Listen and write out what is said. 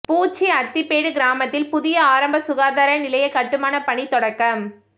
பூச்சி அத்திப்பேடு கிராமத்தில் புதிய ஆரம்ப சுகாதார நிலைய கட்டுமான பணி தொடக்கம்